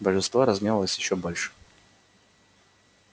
божество разгневалось ещё больше